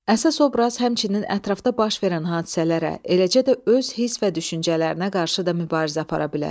Əsas obraz həmçinin ətrafda baş verən hadisələrə, eləcə də öz hiss və düşüncələrinə qarşı da mübarizə apara bilər.